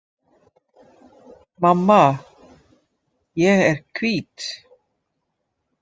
Mamma,- ég er hvít